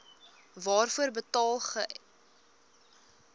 waarvoor betaal gems